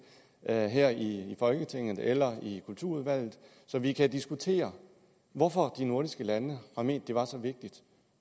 her her i folketinget eller i kulturudvalget så vi kan diskutere hvorfor de nordiske lande har ment det var så vigtigt